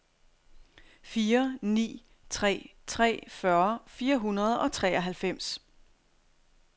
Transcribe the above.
fire ni tre tre fyrre fire hundrede og treoghalvfems